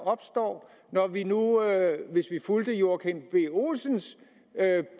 opstå hvis vi fulgte herre joachim b olsens